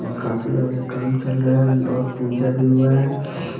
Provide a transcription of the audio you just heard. काफी ज्यादा काम चल रहा है और पूजा भी हुआ है।